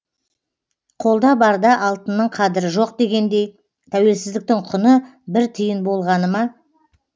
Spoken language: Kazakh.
қолда барда алтынның қадірі жоқ дегендей тәуелсіздіктің құны бір тиын болғаны ма